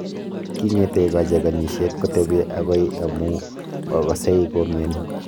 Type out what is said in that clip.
kingetei kacheganishet kotepi agoi ndamu magasei komiani